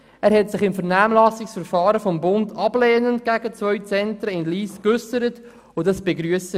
Er hat sich im Vernehmlassungsverfahren des Bundes ablehnend gegenüber zwei Zentren in Lyss ausgesprochen, was wir begrüssen.